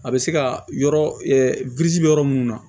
A bɛ se ka yɔrɔ yɔrɔ minnu na